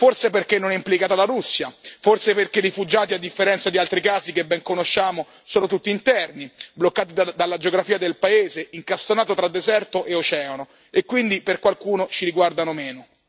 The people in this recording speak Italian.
Forse perché non è implicata la Russia, forse perché i rifugiati, a differenza di altri casi che ben conosciamo, sono tutti interni, bloccati dalla geografia del paese, incastonato tra deserto e oceano, e quindi per qualcuno ci riguardano meno.